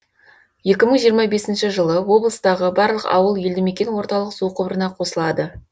екі мың жиырма бесінші жылы облыстағы барлық ауыл елдімекен орталық су құбырына қосылады